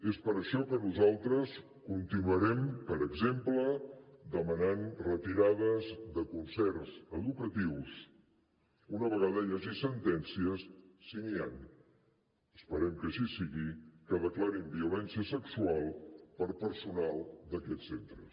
és per això que nosaltres continuarem per exemple demanant retirades de concerts educatius una vegada hi hagi sentències si n’hi han esperem que així sigui que declarin violència sexual per personal d’aquests centres